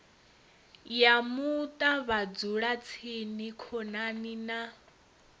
ya muṱa vhadzulatsini khonani na